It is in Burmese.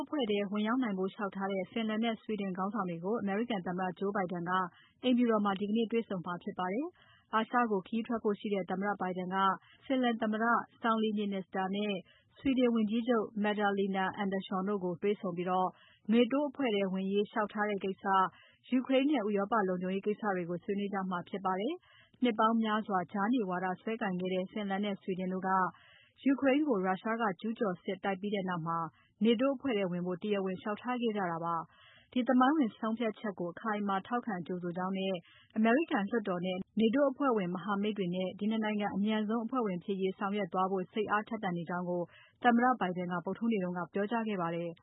အဖွဲ့ထဲဝင်ရောက်ဖို့လျှောက်ထားတဲ့ Finland နဲ့ Sweden ခေါင်းဆောင်တွေကို အမေရိကန်သမ္မတ Joe Biden က အိမ်ဖြူတော်မှာ ဒီနေ့ တွေ့ဆုံမှာဖြစ်ပါတယ်။ အာရှကိုခရီးထွက်ဖို့ရှိတဲ့ သမ္မတ Biden က Finland သမ္မတ Sauli Niinistö နဲ့ ဆွီဒင်ဝန်ကြီးချုပ် Magdalena Andersson တို့ကို တွေ့ဆုံပြီး NATO အဖွဲ့ထဲဝင်ရေး လျှောက်ထားတဲ့ကိစ္စ၊ ယူကရိန်းနဲ့ ဥရောပလုံခြုံရေးကိစ္စတွေကို ဆွေးနွေးကြမှာဖြစ်ပါတယ်။ နှစ်ပေါင်းများစွာ ကြားနေဝါဒစွဲကိုင်ခဲ့ကြတဲ့ Finland နဲ့ Sweden တို့က ယူကရိန်းကို ရုရှားက ကျူးကျော်စစ်ဝင်တိုက်ပြီးနောက် NATO အဖွဲ့ထဲဝင်ဖို့ တရားဝင်လျှောက်ထားခဲ့ကြတာပါ။ ဒီသမိုင်းဝင် ဆုံးဖြတ်ချက်ကို အခိုင်အမာ ထောက်ခံကြိုဆိုကြောင်းနဲ့ အမေရိကန်လွှတ်တော်နဲ့ NATO အဖွဲ့ဝင်မဟာမိတ်တွေနဲ့ ဒီ ၂ နိုင်ငံ အမြန်ဆုံးအဖွဲ့ဝင်ဖြစ်ရေး ဆောင်ရွက်သွားဖို့ စိတ်အားထက်သန်ကြောင်း သမ္မတ Biden ကဗုဒ္ဓဟူးနေ့က ပြောကြားခဲ့ပါတယ်